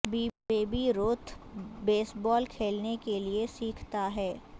baby Ruth baseball کھیلنے کے لئے سیکھتا ہے